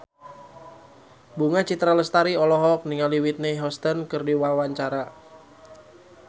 Bunga Citra Lestari olohok ningali Whitney Houston keur diwawancara